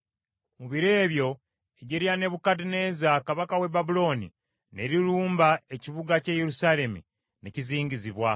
Mu biro ebyo eggye lya Nebukadduneeza kabaka w’e Babulooni ne lirumba ekibuga ky’e Yerusaalemi, ne kizingizibwa.